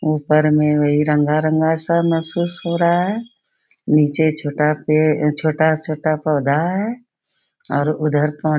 ऊपर में वही रंगा-रंगा सा महसूस हो रहा है। निचे छोटा पेड़ छोटा-छोटा पौधा है और उधर पा --